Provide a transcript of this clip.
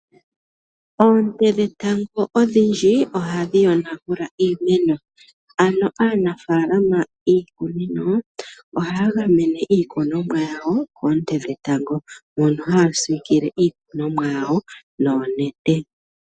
Oonte dhetango odhindji ohadhi yonagula iimeno. Ano aanafaalama yiikunino ohaya gamene iikunomwa yawo koonte dhetango. Mono haya siikile iikunomwa yawo noonete.